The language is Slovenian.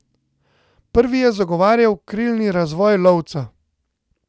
Prvi je zagovarjal krilni razvoj lovca.